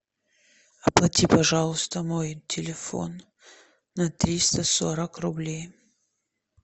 оплати пожалуйста мой телефон на триста сорок рублей